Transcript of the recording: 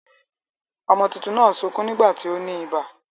Ọmọ tuntun náà ń sukún nígbà tí ó ní ibà.